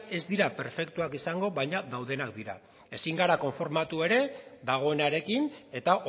ez dira perfektuak izango baina daudenak dira ezin gara konformatu ere dagoenarekin eta